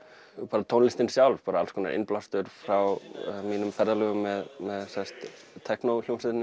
bara tónlistin sjálf innblástur frá mínum ferðalögum með